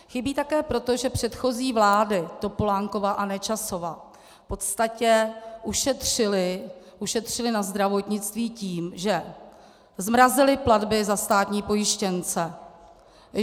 Chybí také proto, že předchozí vlády, Topolánkova a Nečasova, v podstatě ušetřily na zdravotnictví tím, že zmrazily platby za státní pojištěnce.